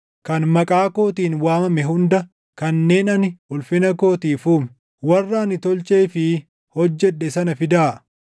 kan maqaa kootiin waamame hunda, kanneen ani ulfina kootiif uume, warra ani tolchee fi hojjedhe sana fidaa.”